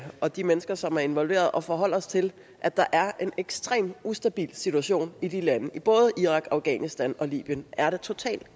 og de mennesker som er involveret at forholde os til at der er en ekstremt ustabil situation i de lande i både irak afghanistan og libyen er der totalt